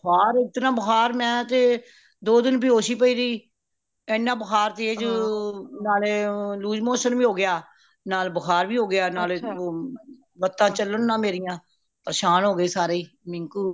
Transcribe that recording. ਬੁਖ਼ਾਰ ਇਤਨਾ ਬੁਖ਼ਾਰ ਮੈਂ ਤੇ ਦੋ ਦਿਨ ਬਯੋਸ਼ ਹੀ ਪਈ ਰਹੀ ਏਨਾ ਬੁਖ਼ਾਰ ਤੇਜ ਨਾਲੇ loose motion ਵੀ ਹੋ ਗਯਾ ਨਾਲ ਬੁਖ਼ਾਰ ਵੀ ਹੋ ਗਯਾ ਨਾਲੇ ਲਤਾਂ ਚਲਣ ਨਾ ਮੇਰੀਆਂ ਪਰਸ਼ਾਂਨ ਹੋ ਗਏ ਸਾਰੇ ਹੀ ਮਿੰਕੂ